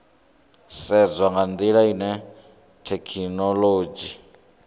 sedzwa nga ndila ine thekhinolodzhi